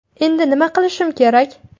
Endi nima qilishim kerak?